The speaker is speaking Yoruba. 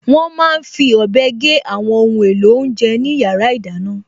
Wọ́n máa n fi ọ̀bẹ gé àwọn ohun èlò oúnjẹ ní yàrá ìdáná